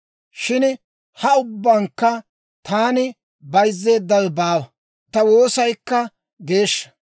Shin ha ubbankka taani bayzzeeddawe baawa; ta woosaykka geeshsha.